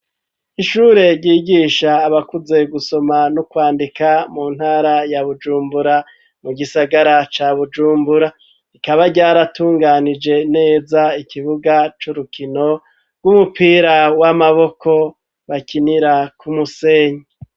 Ishure ryigisha abakuze gusoma no kwandika, mu ntara ya Bujumbura, mu gisagara ca Bujumbura. Rikaba ryaratunganije neza ikibuga c'urukino rw'umupira w'amaboko bakinira ku musenyi.